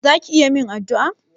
Za ki iya min addu'a?